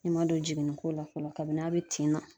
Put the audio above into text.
I ma don jiginni ko la fɔlɔ. Kabini n'a be tin na.